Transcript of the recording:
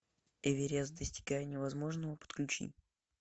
эверест достигая невозможного подключи